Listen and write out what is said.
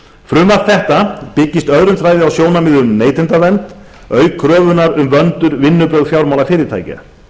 frumvarp þetta byggist öðrum þræði á sjónarmiðum um neytendavernd auk kröfunnar um vönduð vinnubrögð fjármálafyrirtækja